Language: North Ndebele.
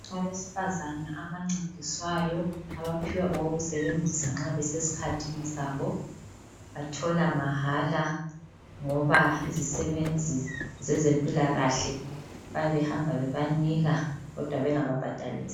Abesifazana abancediswayo abaphiwa okokusebenzisa nxa besesikhathini sabo bathola mahala ngoba izisebenzi zezempilakahle bayabe behamba bebanika kodwa bengababhadalisi.